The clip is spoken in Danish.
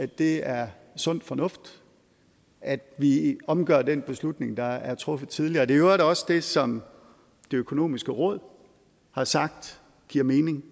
det er sund fornuft at vi omgør den beslutning der er truffet tidligere det øvrigt også det som det økonomiske råd har sagt giver mening